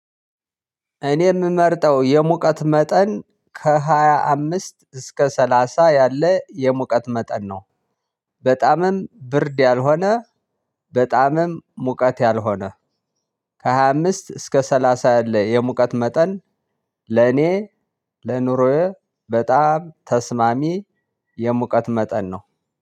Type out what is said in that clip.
እኔ የምመርጠው የሙቀት መጠን ከሃያ አምስት እስከ ሰላሳ ያለ የሙቀት መጠን ነው። በጣምም ብርድ ያልሆነ በጣምም ሙቀት ያልሆነ ከሃያ አምስት እስከ ሰላሳ ያለ የሙቀት መጠን ለኔ ለኑሮዬ በጣም ተስማሚ የሙቀት መጠን ነው።